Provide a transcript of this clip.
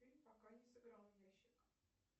фильм пока не сыграл в ящик